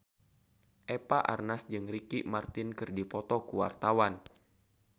Eva Arnaz jeung Ricky Martin keur dipoto ku wartawan